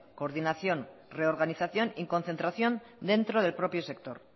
coordinación reorganización y concentración dentro del propio sector